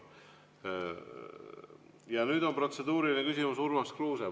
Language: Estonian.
Ja nüüd on protseduuriline küsimus Urmas Kruusel.